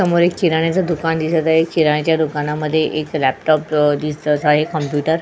समोर एक किराण्याचं दुकान दिसत आहे किराण्याच्या दुकानात एक लॅपटॉप कम्प्युटर --